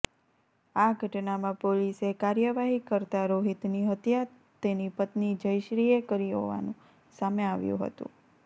આ ઘટનામાં પોલીસે કાર્યવાહી કરતા રોહિતની હત્યા તેની પત્ની જયશ્રીએ કરી હોવાનું સામે આવ્યું હતું